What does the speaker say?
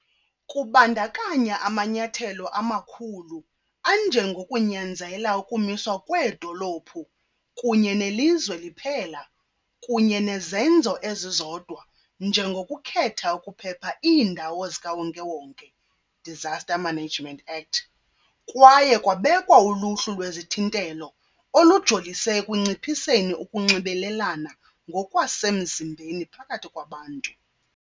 Kubandakanya amanyathelo amakhulu anjengokunyanzela ukumiswa kweedolophu kunye nelizwe liphela kunye nezenzo ezizodwa njengokukhetha ukuphepha iindawo zikawonke-wonke. Disaster Management Act kwaye kwabekwa uluhlu lwezithintelo, olujolise ekunciphiseni ukunxibelelana ngokwasemzimbeni phakathi kwabantu.